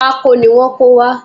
Pákó ni wọ́n kó wá